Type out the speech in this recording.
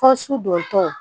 Ko su don tɔ